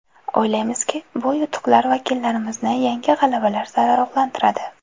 O‘ylaymizki, bu yutuqlar vakillarimizni yangi g‘alabalar sari ruhlantiradi.